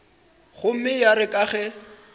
gomme ya re ka ge